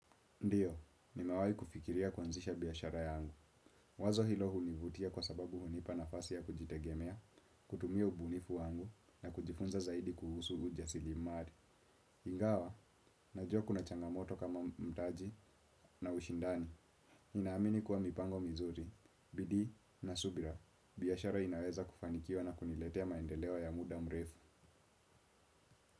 Ndiyo, nimewaai kufikiria kuanzisha biashara yangu. Wazo hilo hunivutia kwa sababu hunipa nafasi ya kujitegemea, kutumia ubunifu wangu na kujifunza zaidi kuhusu ujasilimari. Ingawa, najua kuna changamoto kama mtaji na ushindani. Inaamini kuwa mipango mizuri. Bidii na subira, biashara inaweza kufanikiwa na kuniletea maendeleo ya muda mrefu.